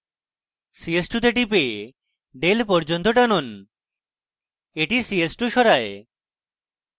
ch2 তে টিপে del পর্যন্ত টানুন এটি ch2 সরায়